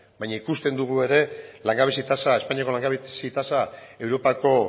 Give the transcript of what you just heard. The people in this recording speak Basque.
baina ikusten dugu ere langabezi tasa espainiako langabezia tasa europako